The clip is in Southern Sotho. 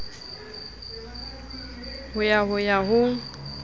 ho ya ho ya ho